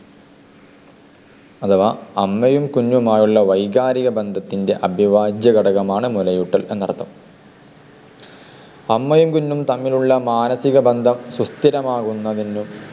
അഥവ അമ്മയും കുഞ്ഞുമായുള്ള വൈകാരിക ബന്ധത്തിൻ്റെ അഭിവാജ്യ ഘടകമാണ് മുലയൂട്ടൽ എന്നർത്ഥം. അമ്മയും കുഞ്ഞും തമ്മിലുള്ള മാനസിക ബന്ധം സുസ്ഥിരമാകുന്നതിനും